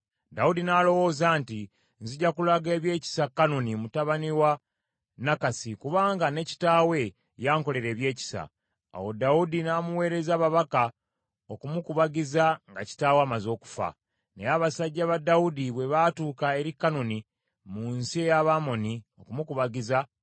Dawudi n’alowooza nti, “Nzija kulaga ebyekisa Kanuni mutabani wa Nakasi, kubanga ne kitaawe yankolera ebyekisa.” Awo Dawudi n’amuweereza ababaka okumukubagiza nga kitaawe amaze okufa. Naye abasajja ba Dawudi bwe baatuuka eri Kanuni mu nsi ey’Abamoni okumukubagiza,